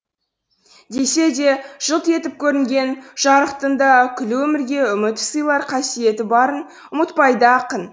десе де жылт етіп көрінген жарықтың да күллі өмірге үміт сыйлар қасиеті барын ұмытпайды ақын